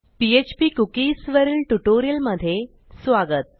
PHP cookies वरील ट्युटोरियलमधे स्वागत